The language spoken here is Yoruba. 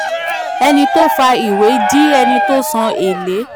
ẹni tó fa ìwé di ẹni tó san èlé